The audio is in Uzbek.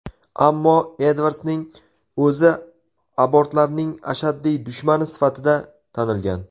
Ammo Edvardsning o‘zi abortlarning ashaddiy dushmani sifatida tanilgan.